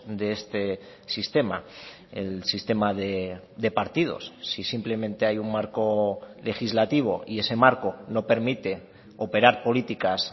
de este sistema el sistema de partidos si simplemente hay un marco legislativo y ese marco no permite operar políticas